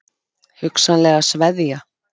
Hugsanlega sveðja?